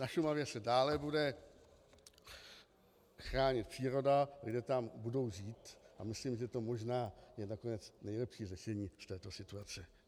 Na Šumavě se dále bude chránit příroda, lidé tam budou žít a myslím, že to možná je nakonec nejlepší řešení v této situaci.